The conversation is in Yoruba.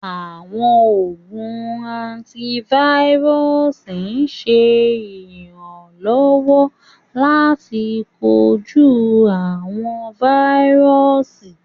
Àwọn oogun antivirusi ṣẹ iránlọwọ̀ lati koju awọn vírùsì